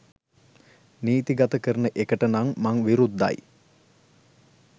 නීති ගත කරන එකට නම් මං විරුද්ධයි